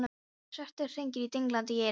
Og svartir hringir dinglandi í eyrunum.